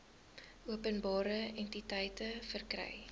openbare entiteite verkry